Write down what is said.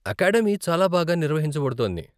Academy చాలా బాగా నిర్వహించబడుతోంది.